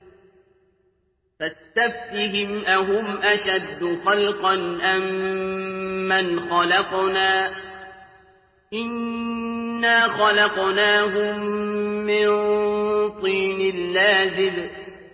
فَاسْتَفْتِهِمْ أَهُمْ أَشَدُّ خَلْقًا أَم مَّنْ خَلَقْنَا ۚ إِنَّا خَلَقْنَاهُم مِّن طِينٍ لَّازِبٍ